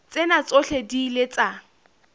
tsena tsohle di ile tsa